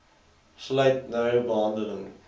sluit nou behandeling